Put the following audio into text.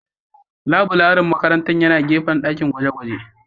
Laburaren makarantar yana gefen dakin gwaje-gwaje